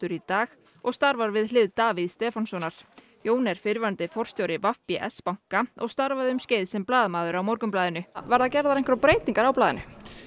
í dag og starfar við hlið Davíðs Stefánssonar Jón er fyrrverandi forstjóri v b s banka og starfaði um skeið sem blaðamaður á Morgunblaðinu verða gerðar einhverjar breytingar á blaðinu